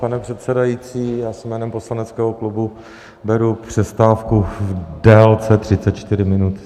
Pane předsedající, já si jménem poslaneckého klubu beru přestávku v délce 34 minut.